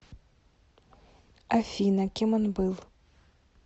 афина кем он был